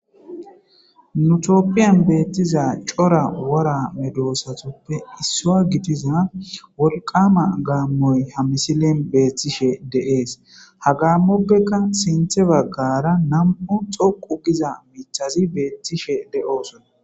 nu tooppiyan beettiza cora wora medosatoppe issua gitiza wolqama gaammoy ha misilen beethtishe de7ees hagammoppekka sinthe baggara nam7u xoqu giza michazi beethtishe de7oosona